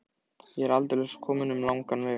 Ég er aldeilis kominn um langan veg.